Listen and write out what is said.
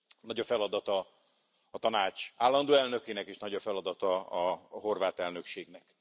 Nagy a feladata a Tanács állandó elnökének, és nagy a feladata a horvát elnökségnek.